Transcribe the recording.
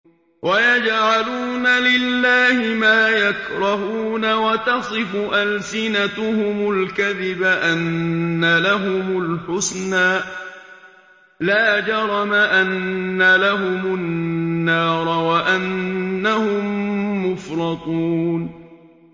وَيَجْعَلُونَ لِلَّهِ مَا يَكْرَهُونَ وَتَصِفُ أَلْسِنَتُهُمُ الْكَذِبَ أَنَّ لَهُمُ الْحُسْنَىٰ ۖ لَا جَرَمَ أَنَّ لَهُمُ النَّارَ وَأَنَّهُم مُّفْرَطُونَ